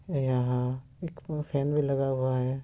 ये यहाँ एक दो फैन भी लगा हुआ है।